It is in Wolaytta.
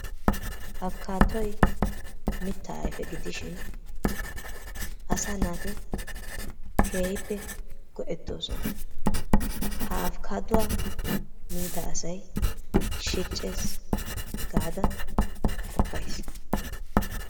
Apikaadoy mittaa ayfe giidishin asaa naati keehippe go"eettoosona. Ha apikaadduwaa miida asay keehi shiiccees gaada qoppayiis.